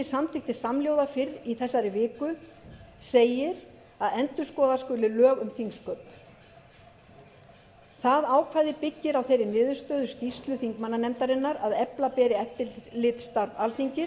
samþykkti samhljóða fyrr í þessari viku segir að endurskoða skuli lög um þingsköp það ákvæði byggir á þeirri niðurstöðu skýrslu þingmannanefndarinnar að efla beri eftirlitsstarf